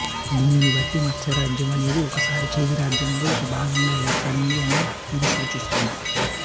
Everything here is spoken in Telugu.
దీనిని బట్టి మత్స్య రాజ్యం అనేది ఒకసారి చేది రాజ్యంలో ఒక భాగంగా ఏర్పడింది అని ఇది సూచిస్తుంది